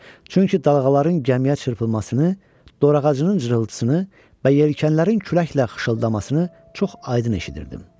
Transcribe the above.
Çünki dalğaların gəmiyə çırpılmasını, dor ağacının cırıldamasını və yelkənlərin küləklə xışıltısını çox aydın eşidirdim.